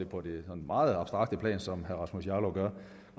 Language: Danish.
på det sådan meget abstrakte plan som herre rasmus jarlov gør